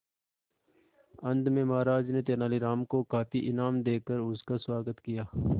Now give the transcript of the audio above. अंत में महाराज ने तेनालीराम को काफी इनाम देकर उसका स्वागत किया